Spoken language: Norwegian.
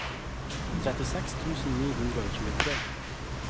trettiseks tusen ni hundre og tjuetre